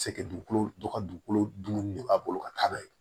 Sekɛ dugukolo dɔ ka dugukolo dun de b'a bolo ka taa n'a ye